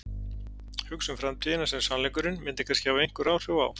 Hugsa um framtíðina sem sannleikurinn myndi kannski hafa einhver áhrif á.